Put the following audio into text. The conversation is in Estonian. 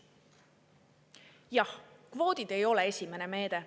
Jah, kvoodid ei ole esimene meede.